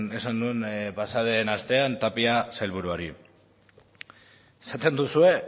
esan nuen pasaden astean tapia sailburuari esaten duzue